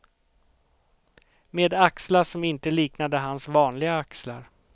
Med axlar som inte liknade hans vanliga axlar.